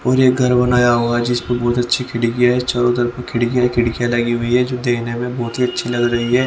और एक घर बनाया हुआ है जिसपे बहुत अच्छी खिड़की है चारों तरफ खिड़कियां ही खिड़कियां लगी हुई है जो देखने में बहुत ही अच्छी लग रही है।